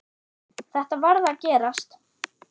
Þetta varð að gerast.